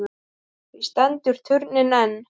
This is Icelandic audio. Því stendur turninn enn.